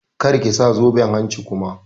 Kar ki sa zoben hanci kuma!